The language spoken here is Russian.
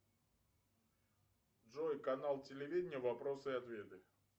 джой канал телевидения вопросы и ответы